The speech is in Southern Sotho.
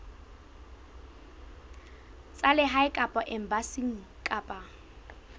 tsa lehae kapa embasing kapa